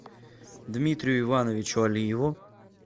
дмитрию ивановичу алиеву